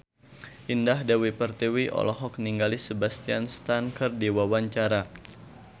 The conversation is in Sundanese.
Indah Dewi Pertiwi olohok ningali Sebastian Stan keur diwawancara